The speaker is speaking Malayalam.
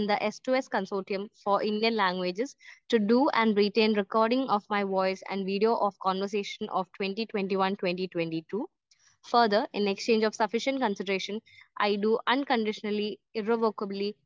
സ്പീക്കർ 1 ആൻഡ്‌ തെ സ്‌2സ്‌ consortium for Indian languages to do and written recording of my voice and video of conversation of 2021-2022 further in exchange of sufficient consideration I do unconditionally irrevocably